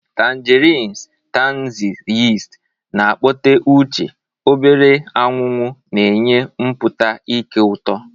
Tangerines 'tangy zest na-akpọte uche, obere anwụ anwụ na-enye mpụta nke ụtọ.